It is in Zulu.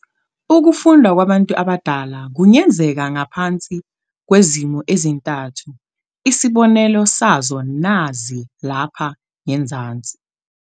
Ukufunda kwabantu abadala kungenzeka ngaphansi kwezimo ezintathu, Isibonelo sazo nazi lapha ngezansi.